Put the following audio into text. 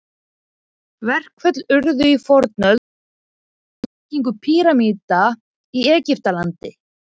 Verkföll urðu í fornöld, til dæmis við byggingu pýramída í Egyptalandi.